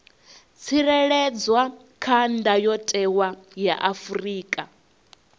tsireledzwa kha ndayotewa ya afrika